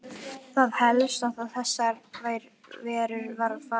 Það er helst að þessar verur fari þar út.